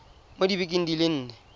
mo dibekeng di le nne